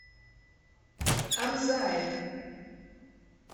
амзаев